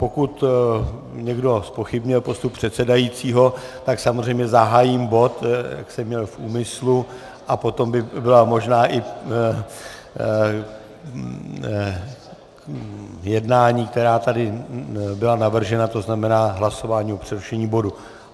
Pokud někdo zpochybňuje postup předsedajícího, tak samozřejmě zahájím bod, jak jsem měl v úmyslu, a potom by byla možná i jednání, která tady byla navržena, to znamená hlasování o přerušení bodu.